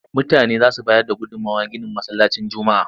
Mutane za su bayar da gudummawar ginin Masallacin Juma'a.